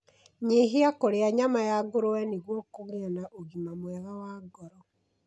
Nyihia kũrĩa nyama ya ngũrũwe nĩguo kũgĩa na ũgima mwega wa ngoro.